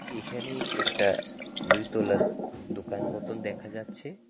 এখানে একটা দুই তলার দোকান মতন দেখা যাচ্ছে।